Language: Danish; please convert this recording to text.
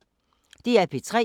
DR P3